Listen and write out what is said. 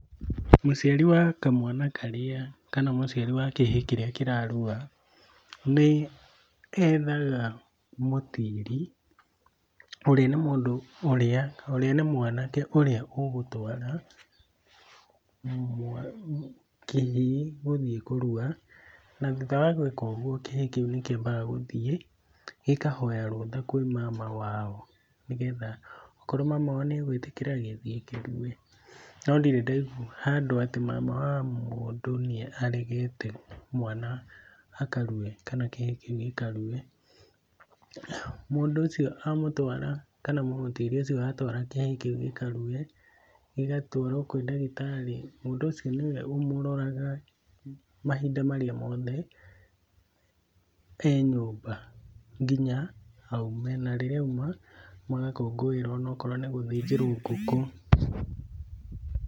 Mũciari wa kamwana karĩa kana mũciari wa kĩhĩĩ kĩrĩa kĩrarua, nĩethaga mũtiiri, ũrĩa nĩ mũndũ ũrĩa, ũrĩa nĩ mwanake ũrĩa ũgũtwara kĩhĩĩ gũthiĩ kũrua na thutha wa gwĩka ũguo kĩhĩĩ kĩu nĩ kĩambaga gũthiĩ gĩkahoya rũtha kwĩ mama wao nĩgetha okorwo mama wao nĩegwĩtĩkĩra, gĩthiĩ kĩrue. No ndirĩ ndaigua handũ atĩ mama wa mũndũ nĩaregete mwana akarue kana kĩhĩĩ kĩu gĩkarue. Mũndũ ũcio amũtwara kana mũmũtĩri ũcio atwara kĩhĩĩ kĩu gĩkarue, gĩgatwarwo kwĩ ndagĩtarĩ mũndũ ũcio nĩwe ũmũroraga mahinda marĩa mothe e nyũmba nginya aume, na rĩrĩa auma magakũngũĩrwo ona akorwo nĩ gũthĩnjĩrwo ngũkũ.